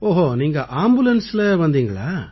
ஓஹோ நீங்க ஆம்புலன்ஸ்ல வந்தீங்களா